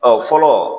Ɔ fɔlɔ